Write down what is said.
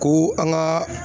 Ko an ka